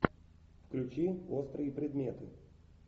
включи острые предметы